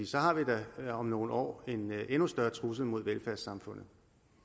så har vi da om nogle år en endnu større trussel mod velfærdssamfundet